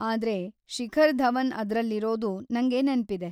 ಆದ್ರೆ, ಶಿಖರ್‌ ಧವನ್‌ ಅದ್ರಲ್ಲಿರೋದು ನಂಗ್ ನೆನ್ಪಿದೆ.